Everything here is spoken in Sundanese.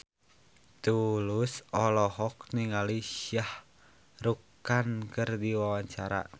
Tulus olohok ningali Shah Rukh Khan keur diwawancara